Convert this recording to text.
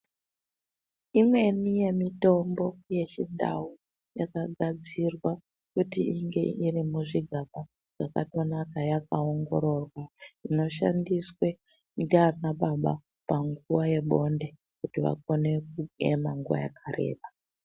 Imweni yemitombo yechindau yakagadzirwa kuti inge iri muzvigaba zvakatonaka yakaongororwa inoshandiswe ndaanababa panguva yebonde kuti vagone kuema nguva yakareba.